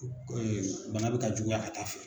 bana bɛ ka juguya ka taa fɛ.